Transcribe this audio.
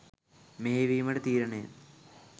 මෙහෙයවීමට තීරණය